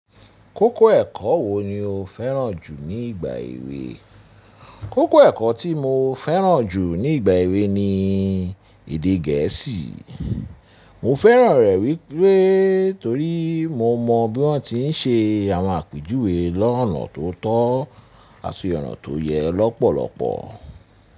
Kókó ẹ̀kọ́ wo ni o fẹ́ràn jù ní ìgbà èwe? Kókó ẹ̀kọ́ tí mo fẹ́ràn jù ní ìgbà èwe ni èdè gẹ̀ẹ́sì. Mo fẹ́ràn rẹ wípé torí mo mọ bí wọ́n ti ń ṣe àwọn àpèjúwe lọ́nà tó tọ́ àti ọ̀nà tó yẹ lọ́pọ̀lọpọ̀.